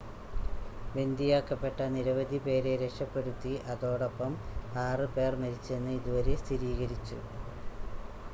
ബന്ദിയാക്കപ്പെട്ട നിരവധി പേരെ രക്ഷപ്പെടുത്തി അതോടൊപ്പം ആറ് പേർ മരിച്ചെന്ന് ഇതുവരെ സ്ഥിരീകരിച്ചു